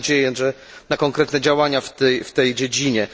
Mamy nadzieję na konkretne działania w tej dziedzinie.